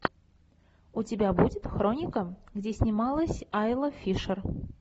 у тебя будет хроника где снималась айла фишер